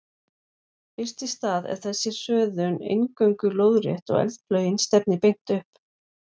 Fyrst í stað er þessi hröðun eingöngu lóðrétt og eldflaugin stefnir beint upp.